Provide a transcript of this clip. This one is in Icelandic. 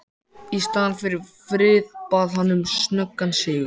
Í staðinn fyrir frið bað hann um snöggan sigur.